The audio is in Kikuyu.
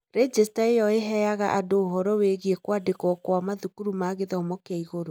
Rejĩcita ĩyo ĩheaga andũ ũhoro wĩgiĩ kwandĩkwo kwa mathukuru ma gĩthomo kĩa igũrũ.